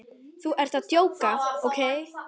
Þú ert að djóka, ókei?